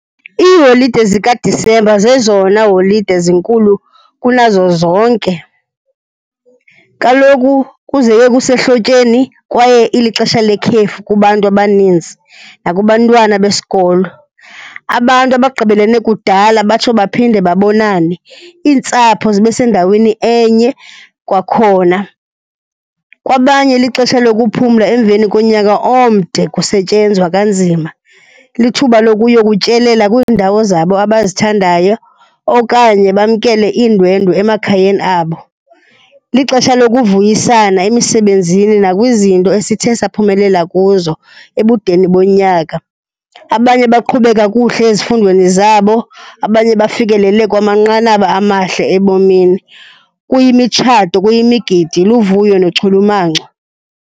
Iiholide zikaDisemba zezona holide zinkulu kunazo zonke. Kaloku kuzeke kusehlotyeni kwaye ilixesha lekhefu kubantu abaninzi nakubantwana besikolo. Abantu abagqibelene kudala batsho baphinde babonane. Iintsapho zibe sendaweni enye kwakhona. Kwabanye lixesha lokuphumla emveni konyaka omde kusetyenzwa kanzima. Lithuba lokuyokutyelela kwiindawo zabo abazithandayo okanye bamkele iindwendwe emakhayeni abo. Lixesha lokuvuyisana emisebenzini nakwizinto esithe saphumelela kuzo ebudeni bonyaka. Abanye baqhube kakuhle ezifundweni zabo, abanye bafikelele kwamanqanaba amahle ebomini. Kuyimitshato, kuyimigidi, luvuyo nochulumanco.